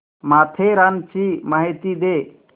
माथेरानची माहिती दे